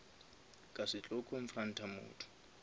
ka se tlo confront motho